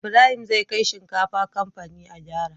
Ibrahim zai kai shinkafa kamfani a gyara